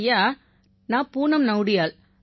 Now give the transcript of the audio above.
ஐயா நான் பூனம் நௌடியால்